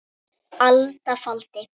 alda faldi